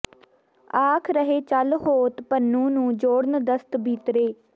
ਆਖ ਰਹੇ ਚੱਲ ਹੋਤ ਪੁਨੂੰ ਨੂੰ ਜੋੜਨ ਦਸਤ ਬੀਤਰੇ